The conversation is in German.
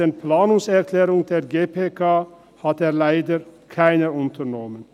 den Planungserklärungen der GPK hat er leider keine unternommen.